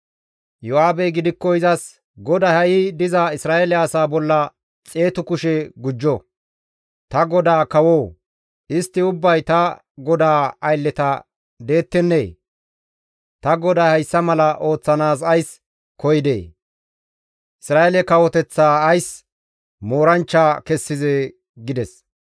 Iyo7aabey gidikko izas, «GODAY ha7i diza Isra7eele asaa bolla xeetu kushe gujjo! Ta godaa kawoo! istti ubbay ta godaa aylleta deettennee? Ta goday hayssa mala ooththanaas ays koyidee? Isra7eele kawoteththaa ays mooranchcha kessizee?» gides.